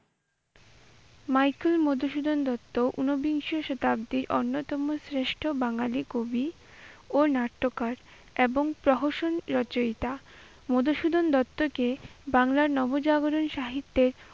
Michael Madhusudan Dutt উনবিংশ শতাব্দীর অন্যতম শ্রেষ্ঠ বাঙ্গালি কবি ও নাট্যকার এবং প্রহসন রচয়িতা। মধুসূদন দত্তকে বাংলা নবজাগরণী সাহিত্যের